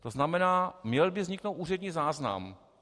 To znamená, měl by vzniknout úřední záznam.